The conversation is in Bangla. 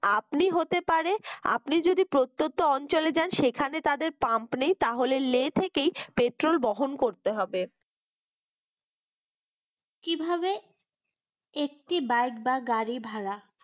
আপনি হতে পারে আপনি যদি প্রত্যুত্ত্য অঞ্চলে যান সেখানে তাদের pump নেই তাহলে লে থেকেই petrol বহন করতে হবে। কিভাবে একটি বাইক বা গাড়ি ভাড়া